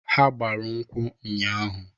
Ha gbara nkwụ nnya ahụ.